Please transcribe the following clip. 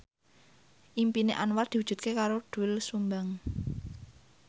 impine Anwar diwujudke karo Doel Sumbang